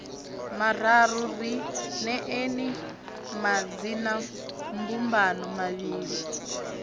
mararu ri neeni madzinambumbano mavhili